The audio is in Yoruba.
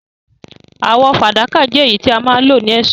Àwò fàdákà je èyí tí a ma n lo ni èsó